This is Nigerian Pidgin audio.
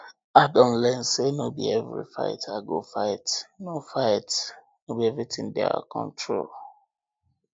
i don learn say no be every fight i go fight no fight no be everything dey our control